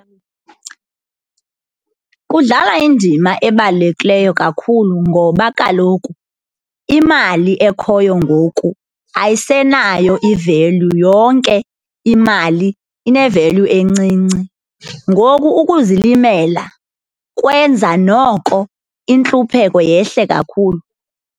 Kudlala indima ebalulekileyo kakhulu ngoba kaloku imali ekhoyo ngoku ayisenayo ivelyu, yonke imali inevelyu encinci. Ngoku ukuzilimela kwenza noko intlupheko yehle kakhulu.